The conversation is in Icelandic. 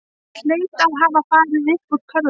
Hann hlaut að hafa farið uppúr körfunni.